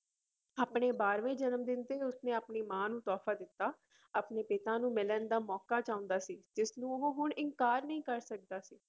ਆਪਣੇ ਬਾਰਵੇਂ ਜਨਮ ਦਿਨ ਤੇ ਉਸਨੇ ਆਪਣੀ ਮਾਂ ਨੂੰ ਤੋਹਫ਼ਾ ਦਿੱਤਾ ਆਪਣੇ ਪਿਤਾ ਨੂੰ ਮਿਲਣ ਦਾ ਮੌਕਾ ਚਾਹੁੰਦਾ ਸੀ ਜਿਸਨੂੰ ਉਹ ਹੁਣ ਇਨਕਾਰ ਨਹੀਂ ਕਰ ਸਕਦਾ ਸੀ।